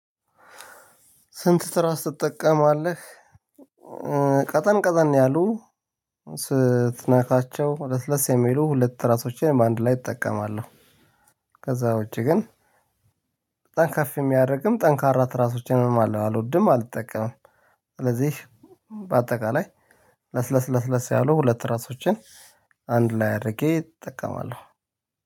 ስንት? ስራ ስትጠቀማለህ ቀጠን ቀጠን ነው ያሉት ለስለስ የሚሉ ሁለት ራሶችን በአንድ ላይ እጠቀማለሁ። ከዛውጪ ግን በጣም ከፍ የሚያረግም ጠንካራ ትራሶችንም አሎድም አልጠቀምም። ለዚህ በአጠቃላይ ለስለስ ለስለስ ያሉ ሁለት ራሶችን አንድ ላይ አድርጌ እጠቀማለው።